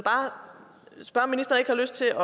har lyst til